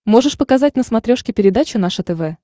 можешь показать на смотрешке передачу наше тв